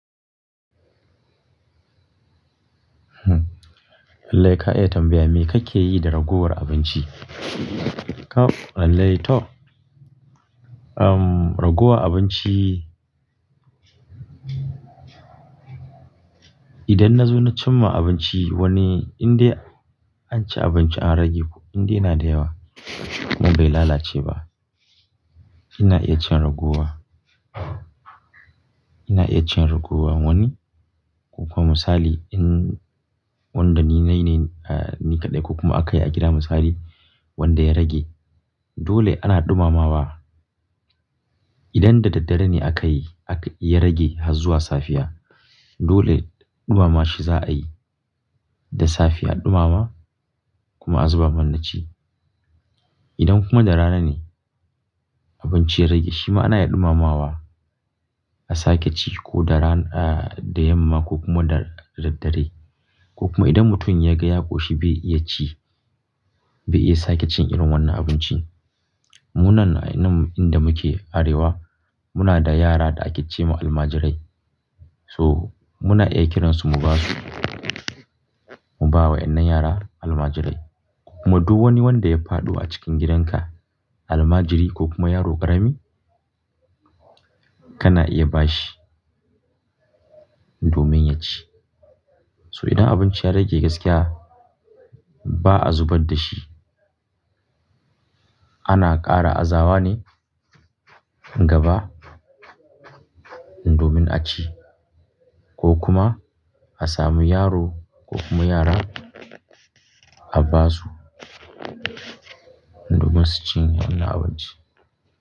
Lallai ka iya tambaya me kake yi da raguwar abinci? Kaf lallai to. Uhm, ragowa abinci, idan na zo na cim ma abinci wani inda an ci abinci an rage ko indai yana da yawa abun bai lalace ba, ina iya cin ragowa. Ina iya cin ragowa wani. Ko kuma misali in wanda ni nai ne, ni kaɗai ko kuma aka yi a gida misali wanda ya rage dole ana dumamawa idan da daddare ne aka yi ya rage har zuwa safiya dole ɗumama shi za a yi da safiya an ɗumama kuma a zuba manna ci. Idan kuma da rana ne abinci ya rage shima ana iya ɗumamawa a sake ci ko da ran-- da yamma ko kuma da dare. Ko kuma idan mutum ya ga ya ƙoshi bai iya ci, bai iya sake cin irin wannan abinci. Mu nan inda muke Arewa muna da yara da ake ce ma almajirai so muna iya kiransu mu ba su, mu bawa wa'innan yara almajirai. Kuma duk wani wanda ya faɗo a cikin gidanka almajiri ko kuma yaro ƙarami kana iya ba shi domin ya ci. So idan abinci ya rage gaskiya ba a zubar da shi. Ana ƙara azawa ne gaba indomin a ci ko kuma a samu yaro ko kuma yara a ba su domin su cinye wannan abinci.